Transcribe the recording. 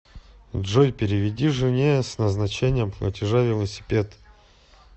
джой переведи жене с назначением платежа велосипед